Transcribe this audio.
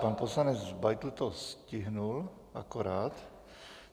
Pan poslanec Beitl to stihl akorát.